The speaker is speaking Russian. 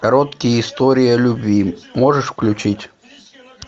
короткие истории о любви можешь включить